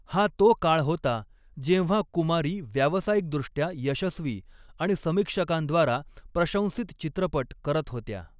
हा तो काळ होता जेव्हा कुमारी व्यावसायिकदृष्ट्या यशस्वी आणि समीक्षकांद्वारा प्रशंसित चित्रपट करत होत्या.